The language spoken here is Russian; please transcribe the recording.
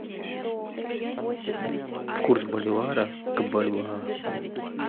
курс боливара к бальбоа